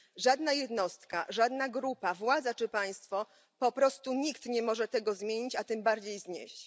Żadna jednostka, żadna grupa, władza czy państwo, po prostu nikt, nie może tego zmienić, a tym bardziej znieść.